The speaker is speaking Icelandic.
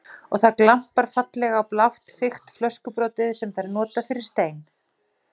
Og það glampar fallega á blátt þykkt flöskubrotið sem þær nota fyrir stein.